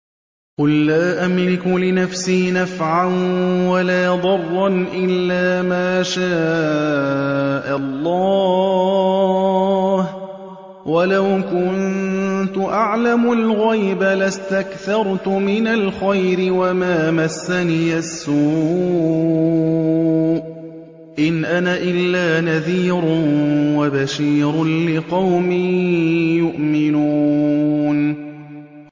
قُل لَّا أَمْلِكُ لِنَفْسِي نَفْعًا وَلَا ضَرًّا إِلَّا مَا شَاءَ اللَّهُ ۚ وَلَوْ كُنتُ أَعْلَمُ الْغَيْبَ لَاسْتَكْثَرْتُ مِنَ الْخَيْرِ وَمَا مَسَّنِيَ السُّوءُ ۚ إِنْ أَنَا إِلَّا نَذِيرٌ وَبَشِيرٌ لِّقَوْمٍ يُؤْمِنُونَ